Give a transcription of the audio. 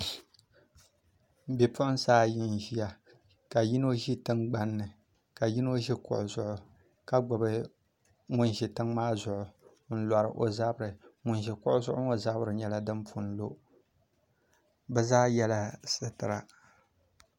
Bipuɣunsi ayi n ʒiya ka yino ʒi tingbanni ka yino ʒi kuɣu zuɣu ka gbubi ŋun ʒi tiŋ maa zuɣu n lori o zabiri ŋun ʒi kuɣu zuɣu ŋo zabiri nyɛla din pun lo bi zaa yɛla sitira